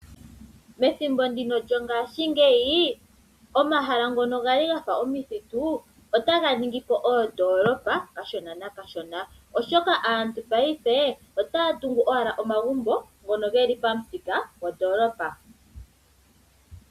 Methimbo lyo ngaashi ngeyi omahala ngoka ngali omithitu ota ga ningi po oondolopa kashona nakashona ,oshoka aantu payife otaatungu owala omagumbo ngono ngeli pamuthika gwondolopa.